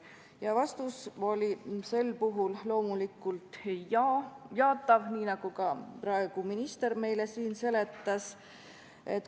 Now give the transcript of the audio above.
Ja vastus oli sel puhul loomulikult jaatav, nii nagu ka praegu minister meile siin seletas.